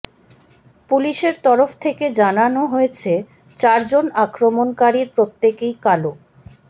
পুলিসের তরফ থেকে জানান হয়েছে চারজন আক্রমণকারীর প্রত্যেকেই কালো